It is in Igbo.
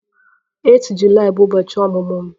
8 Julaị bụ ụbọchị ọmụmụ m